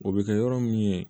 O bɛ kɛ yɔrɔ min ye